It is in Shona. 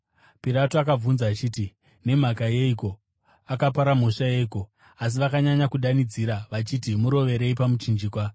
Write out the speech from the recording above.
Pirato akavabvunza akati, “Nemhaka yeiko? Akapara mhosva yeiko?” Asi vakanyanya kudanidzira vachiti, “Murovererei pamuchinjikwa!”